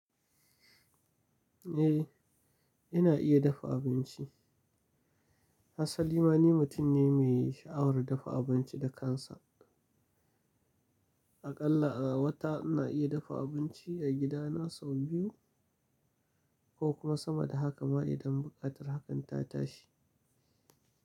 Eh, ina iya dafa abinci. Ha salima ni mutum ne mai sha'awar dafa abinci da kansa. Aƙalla a wata ina iya dafa abinci a gidana sau biyu ko kuma sama da haka ma idan buƙatar hakan ta tashi.